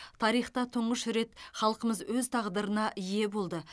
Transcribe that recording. тарихта тұңғыш рет халқымыз өз тағдырына ие болды